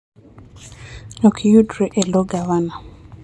ok yudre e lo gavana